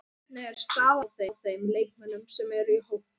Hvernig er staðan á þeim leikmönnum sem eru í hópnum?